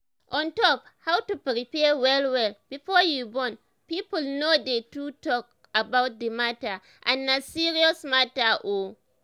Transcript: on top how to prepare well well before you born people no dey too talk about the matter and na serious matter oo